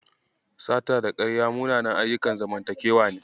Sata da ƙarya munanan ayyukan zamantakewa ne.